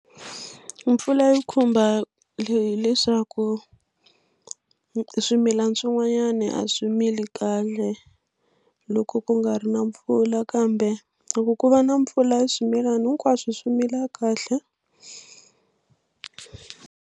Mpfula yi khumba hileswaku swimilana swin'wani a swi mili kahle loko ku nga ri na mpfula kambe loko ku va na mpfula swimilana hinkwaswo swi mila kahle.